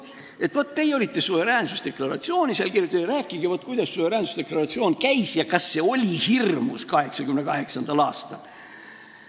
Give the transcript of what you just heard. Et vaat, teie olete seal suveräänsusdeklaratsiooni kirjutanud ja rääkige, kuidas see käis ja kas see oli 1988. aastal hirmus.